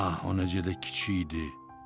A, o necə də kiçik idi!